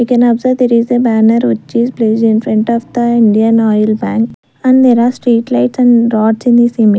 We can observe there is a banner which is placed infront of the Indian oil van and there are street lights and roads in this image.